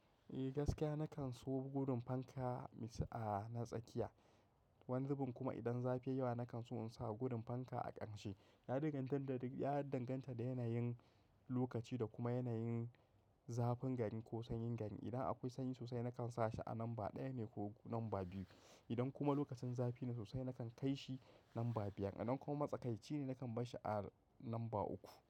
Eh gaskiya na kan so gudun fanka a na tsakiya. Wani zubin kuma idan zafi yawa na kan so in sa gudun fanka a ƙarshe. Na danganta da yanayin lokaci da kuma yanayin zafin gari ko sanyin gari. Idan akwai sanyi sosai na kan sa shi a lamba ɗaya ne ko lamba biyu. Idan kuma lokacin zafi ne sosai na kan kai shi lamba biyar. Idan kuma matsakaici ne na kan barshi a lamba uku.